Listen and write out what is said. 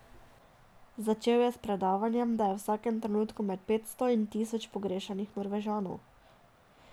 Začel je s predavanjem, da je v vsakem trenutku med petsto in tisoč pogrešanih Norvežanov.